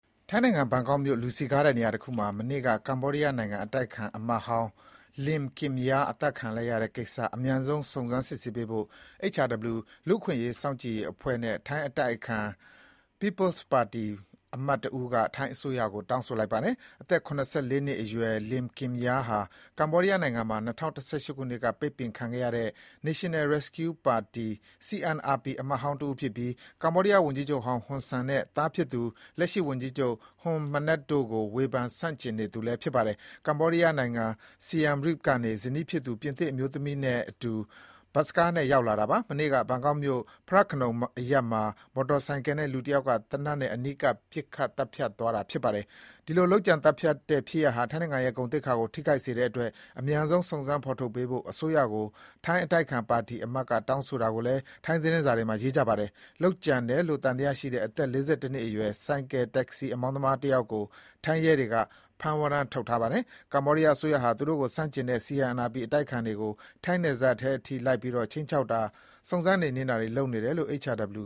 ထိုင်းနိုင်ငံ ဘန်ကောက်မြို့ လူစည်ကားတဲ့နေရာတခုမှာ မနေ့က ကမ္ဘောဒီးယားနိုင်ငံ အတိုက်အခံအမတ်ဟောင်း Lim Kimya အသတ်ခံခဲ့ရတဲ့ကိစ္စ အမြန်ဆုံး စုံစမ်းစစ်ဆေးပေးဖို့ HRW လူ့အခွင့်အရေး စောင့်ကြည့်ရေးအဖွဲ့နဲ့ ထိုင်း အတိုက်အခံ People’s Party ပါတီအမတ်တဦးက ထိုင်းအစိုးရကို တောင်းဆိုပါတယ်။ အသက် ၇၄ နှစ်အရွယ် Lim Kimya ဟာ ကမ္ဘောဒီးယားနိုင်ငံမှာ ၂၀၁၈ ခုနှစ်က ပိတ်ပင်ခံခဲ့ရတဲ့ National Rescue Party CNRP အမတ်ဟောင်းတဦး ဖြစ်ပြီး ကမ္ဘောဒီးယားဝန်ကြီးချုပ်ဟောင်းဟွန်ဆန်နဲ့ သားဖြစ်သူ လက်ရှိဝန်ကြီးချုပ် Hun Manet တို့ကို ဝေဖန်ဆန့်ကျင်နေသူ ဖြစ်ပါတယ်။ ကမ္ဘောဒီးယားနိုင်ငံ Siem Reap ကနေ ဇနီးဖြစ်သူ ပြင်သစ်အမျိုးသမီးနဲ့အတူ ထိုင်းနိုင်ငံကို ဘတ်စကားနဲ့ ရောက်လတာပါ။ မနေ့က ဘန်ကောက်မြို့ Phra Nakhon အရပ်မှာ မော်တော်ဆိုင်ကယ်နဲ့ လူတယောက်က သေနတ်နဲ့ အနီးကပ် ပစ်သတ်သွားတာပါ။ ဒီလို လုပ်ကြံ သတ်ဖြတ်တဲ့ ဖြစ်ရပ်ဟာ ထိုင်းနိုင်ငံရဲ့ ဂုဏ်သိက္ခာကိုထိခိုက်နိုင်တဲ့အတွက် အမြန်ဆုံး စုံစမ်း ဖေါ်ထုတ်ပေးဖို့ ထိုင်းအစိုးရကို ထိုင်းအတိုက်အခံပါတီအမတ်က တောင်းဆိုတာကိုလည်း ထိုင်း သတင်းစာတွေမှာ ရေးပါတယ်။ လုပ်ကြံတယ်လို့ သံသယရှိတဲ့ အသက် ၄၁ နှစ်အရွယ် ဆိုင်ကယ် တက္ကစီ အမောင်းသမားတယောက်ကို ထိုင်းရဲတွေက ဖမ်းဝရမ်းထုတ်ထားပါတယ်။ ကမ္ဘောဒီးယားအစိုးရဟာ သူ့ကိုဆန့်ကျင်တဲ့ CNRP အတိုက်အခံတွေကို ထိုင်းနယ်ထဲအထိ လိုက်ပြီး ခြိမ်းခြောက်တာ၊ စုံစမ်း နှိမ်နင်းတာတွေလုပ်နေတယ်လို့ HRW